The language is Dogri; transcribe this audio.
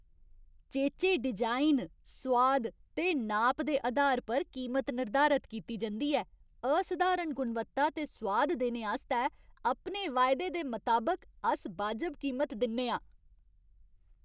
चेचे डिज़ाइन, सोआद ते नाप दे अधार पर कीमत निर्धारत कीती जंदी ऐ। असधारण गुणवत्ता ते सोआद देने आस्तै अपने वायदे दे मताबक अस बाजब कीमत दिन्ने आं।